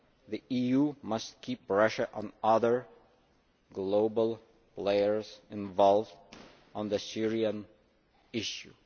The EU must keep Russia and other global players involved on the Syrian issue.